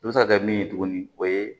I bɛ se ka kɛ min ye tuguni o ye